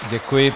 Děkuji.